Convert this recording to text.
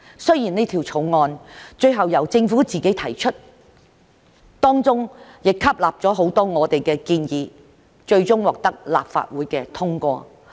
雖然此條例草案最後由政府自行提出，但當中亦吸納了很多我們的建議，最終獲得立法會通過。